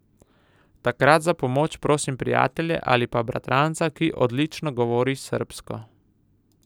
Takrat za pomoč prosim prijatelje ali pa bratranca, ki odlično govori srbsko.